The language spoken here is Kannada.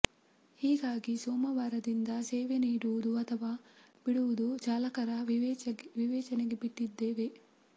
ಹೀಗಾಗಿ ಸೋಮವಾರದಿಂದ ಸೇವೆ ನೀಡುವುದು ಅಥವಾ ಬಿಡುವುದು ಚಾಲಕರ ವಿವೇಚನೆಗೆ ಬಿಟ್ಟಿದ್ದೇವೆ